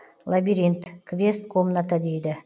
лабиринт квест комната дейді